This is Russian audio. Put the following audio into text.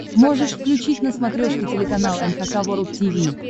можешь включить на смотрешке телеканал эн эйч кей волд ти ви